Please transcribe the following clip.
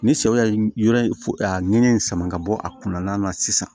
Ni sɛw ye yɔrɔ in f nɛgɛn in sama ka bɔ a kun na sisan